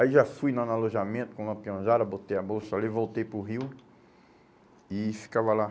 Aí já fui lá no alojamento com uma peãozada, botei a bolsa ali, voltei para o rio e ficava lá.